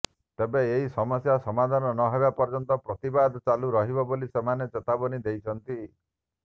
ତେବେ ଏହି ସମସ୍ୟା ସମାଧାନ ନହେବା ପର୍ଯ୍ୟନ୍ତ ପ୍ରତିବାଦ ଚାଲୁ ରହିବ ବୋଲି ସେମାନେ ଚେତାବନୀ ଦେଇଛନ୍ତି